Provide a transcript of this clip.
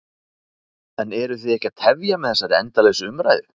En eruð þið ekki að tefja með þessari endalausu umræðu?